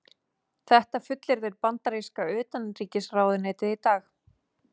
Þetta fullyrðir bandaríska utanríkisráðuneytið í dag